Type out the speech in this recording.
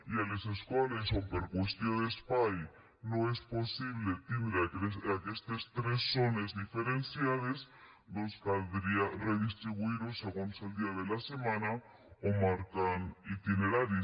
i a les escoles on per qüestió d’espai no és possible tindre aquestes tres zones diferenciades caldria redistribuir ho segons el dia de la setmana o marcant hi itineraris